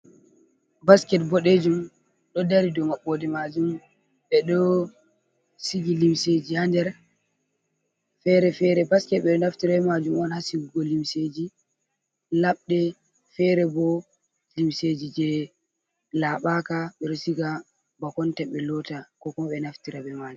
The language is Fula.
Basket boɗejum ɗo dari dou maɓɓode majum, beɗo sigi limseji ha nder fere fere basket ɓeɗo naftira ale majum on ha sigugo limseji laɓde fere bo limseji je laɓaka beɗo siga bakonta ɓe lota koko ɓe naftira be man.